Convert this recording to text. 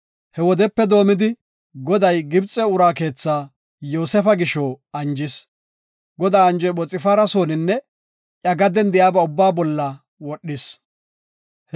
He wodepe doomidi, Goday Gibxe ura keetha Yoosefa gisho anjis. Godaa anjoy Phoxfaara sooninne iya gaden de7iyaba ubbaa bolla wodhis.